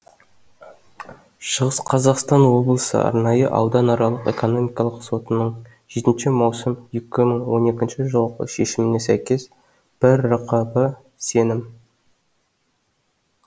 шығыс қазақстан облысы арнайы ауданаралық экономикалық сотының жетінші маусым екі мың он екінші жылғы шешіміне сәйкес бір рқб сенім